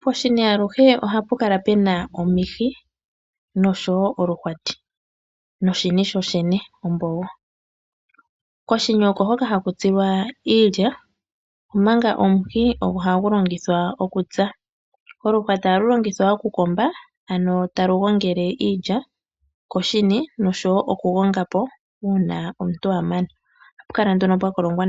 Poshini aluhe ohapu kala pena omihi noshowo oluhwati noshini shoshene ombululu, koshini okohoka haku tsilwa iilya omanga omuhi ogo hagu longithwa okutsa, oluhwati ohalu longithwa okukomba ano talu gongele iilya koshini noshowo okukolonga po uuna omuntu amana, ohapu kala nduno pwa kolongwa